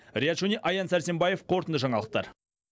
риат шони аян сәрсенбаев қорытынды жаңалықтар